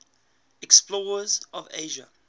explorers of asia